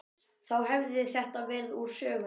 Þá hefði þetta verið úr sögunni.